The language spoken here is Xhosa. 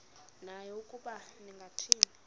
naye ukuba ningathini